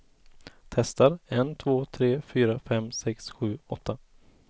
Testar en två tre fyra fem sex sju åtta.